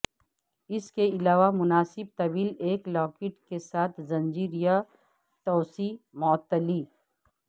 اس کے علاوہ مناسب طویل ایک لاکٹ کے ساتھ زنجیر یا توسیع معطلی